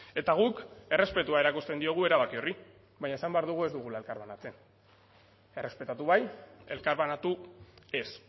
eta guk errespetua erakusten diogu erabaki horri baina esan behar dugu ez dugula elkarbanatzen errespetatu bai elkarbanatu ez